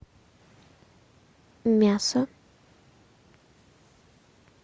мясо